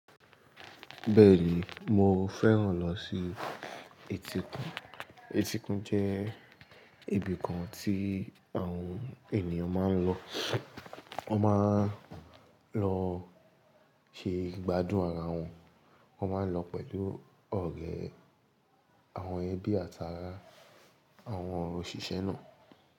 Bẹ́ẹ̀ni, mo fẹ́ràn lọ sí etíkun. Etíkun jẹ́ ibi kan tí àwọn ènìyàn máa ń lọ. Wọ́n máa ń lọ ṣe ìgbádùn ara wọn. Wọ́n máa ń lọ pẹ̀lú ọ̀rẹ́, àwọn ẹbí àtàrá àwọn òṣìṣẹ́ náà.